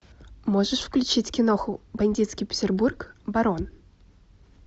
можешь включить киноху бандитский петербург барон